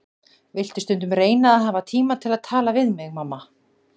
Viltu stundum reyna að hafa tíma til að tala við mig, mamma.